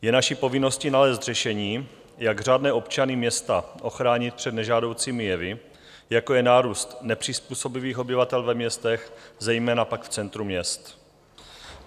Je naší povinností nalézt řešení, jak řádné občany města ochránit před nežádoucími jevy, jako je nárůst nepřizpůsobivých obyvatel ve městech, zejména pak v centru měst.